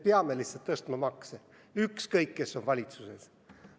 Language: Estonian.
Me lihtsalt peame makse tõstma, ükskõik kes siis valitsuses on.